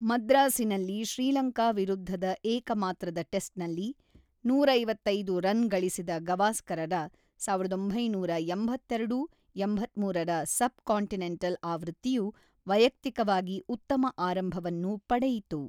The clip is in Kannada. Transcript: ಮದ್ರಾಸಿನಲ್ಲಿ ಶ್ರೀಲಂಕಾ ವಿರುದ್ಧದ ಏಕಮಾತ್ರದ ಟೆಸ್ಟ್‌ನಲ್ಲಿ ನೂರ ಐವತ್ತೈದು ರನ್ ಗಳಿಸಿದ ಗವಾಸ್ಕರರ ಸಾವಿರದ ಒಂಬೈನೂರ ಎಂಬತ್ತೆರಡು-ಎಂಬತ್ತ್ಮೂರರ ಸಬ್‌ಕಾಂಟಿನೆಂಟಲ್ ಆವೃತ್ತಿಯು ವೈಯಕ್ತಿಕವಾಗಿ ಉತ್ತಮ ಆರಂಭವನ್ನು ಪಡೆಯಿತು.